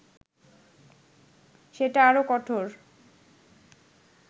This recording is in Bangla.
সেটা আরও কঠোর